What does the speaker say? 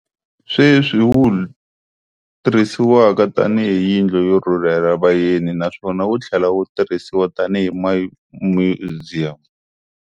Sweswi wuI tirhisiwa tani hi yindlu yo rhurhela va yeni naswona wu thlela wu tirhisiwa tanihi Myuziyamu.